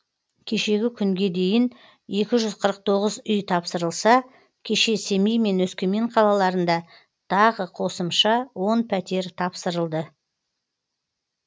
кешегі күнге дейін екі жүз қырық тоғыз үй тапсырылса кеше семей мен өскемен қалаларында тағы қосымша он пәтер тапсырылды